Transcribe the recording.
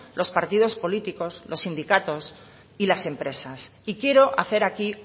los partidos políticos los sindicatos y las empresas y quiero hacer aquí